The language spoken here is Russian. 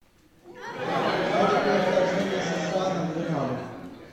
что такое вторжение сша на гренаду